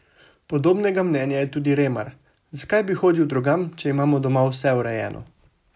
Podobnega mnenja je tudi Remar: "Zakaj bi hodil drugam, če imamo doma vse urejeno?